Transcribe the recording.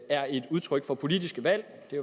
er et udtryk for politiske valg det